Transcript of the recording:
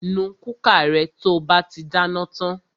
Nu kúkà rẹ to bá ti dáná tan!